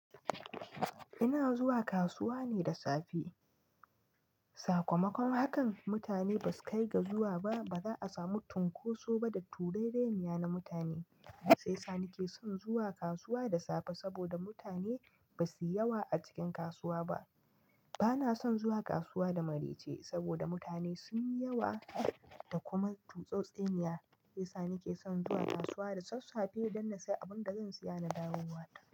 Ina zuwa kasuwa ne da safe. Sakamakon hakan, mutane ba su kai ga zuwa ba, ba za'a samu tinkoso ba da turereniya na mutane. Sai sani ke son zuwa kasuwa da safe saboda mutane ba su yi yawa a cikin kasuwa ba. Bana son zuwa kasuwa da maraice saboda mutane sun yi yawa da kuma tutsotseniya. Shiyasa nake son zuwa kasuwa da sassafe don na sayi abin da zan siya na dawowa ta.